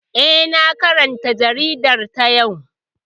Eh, na karanta jaridar ta yau